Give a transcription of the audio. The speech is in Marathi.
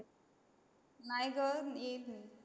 नाही ग येईल